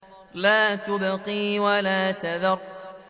لَا تُبْقِي وَلَا تَذَرُ